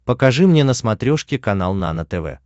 покажи мне на смотрешке канал нано тв